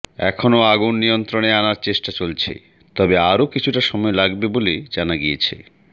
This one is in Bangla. এখনও আগুন নিয়ন্ত্রণে আনার চেষ্টা চলছে তবে আরও কিছুটা সময় লাগবে বলে জানা গিয়েছে